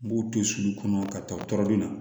N b'u to sulu kɔnɔ ka taa tɔɔrɔ be na